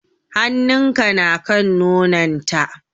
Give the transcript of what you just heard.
Hannun ka na kan nonon ta?